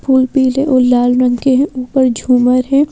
फूल पीले और लाल रंग के हैं ऊपर झूमर है।